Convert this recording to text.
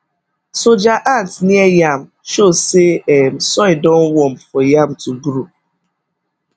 soldier ant near yam show say um soil don warm for yam to grow